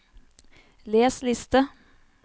les liste